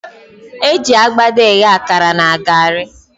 Eji akpata eghe akara na garị.